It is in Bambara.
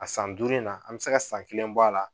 A san duuru in na an bɛ se ka san kelen bɔ a la